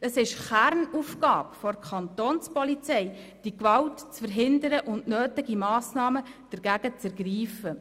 Es ist Kernaufgabe der Kantonspolizei, die Gewalt zu verhindern und nötige Massnahmen dagegen zu ergreifen.